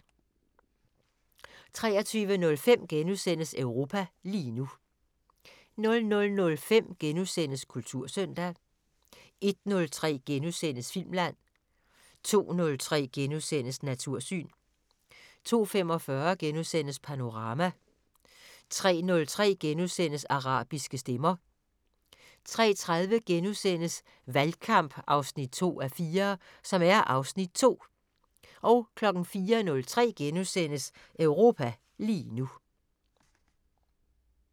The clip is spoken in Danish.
23:05: Europa lige nu * 00:05: Kultursøndag * 01:03: Filmland * 02:03: Natursyn * 02:45: Panorama * 03:03: Arabiske stemmer * 03:30: Valgkamp 2:4 (Afs. 2)* 04:03: Europa lige nu *